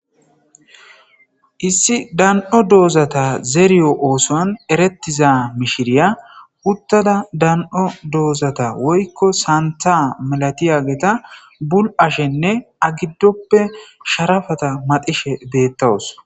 Issi dan.o doozata zeeriyo oosoan erettiza mishiriya huttada dan'o doozata woykko santha malati ageta bul'ashenne agiddoppe sharafata madishe deettawus.